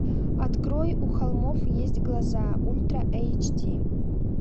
открой у холмов есть глаза ультра эйч ди